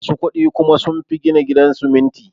Musu kudi kuma sunfi gina gidan siminti